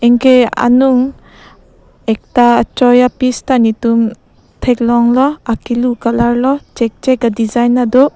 anke anung ekta achoi ape sita netum thek long lo akilu colour lo cheak cheak adisign tado.